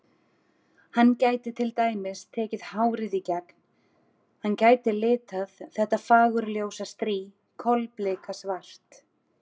Hann gæti til dæmis tekið hárið í gegn, hann gæti litað þetta fagurljósa strý kolbikasvart.